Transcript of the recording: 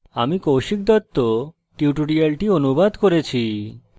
আমি কৌশিক দত্ত এই টিউটোরিয়ালটি অনুবাদ করেছি